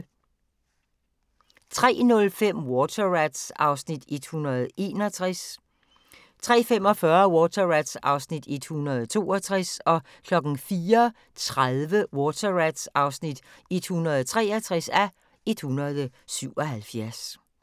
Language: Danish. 03:05: Water Rats (161:177) 03:45: Water Rats (162:177) 04:30: Water Rats (163:177)